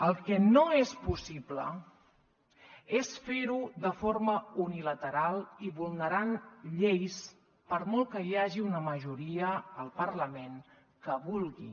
el que no és possible és fer ho de forma unilateral i vulnerant lleis per molt que hi hagi una majoria al parlament que ho vulgui